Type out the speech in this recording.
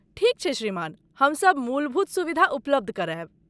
ठीक छै श्रीमान, हमसभ मूलभूत सुविधा उपलब्ध करायब।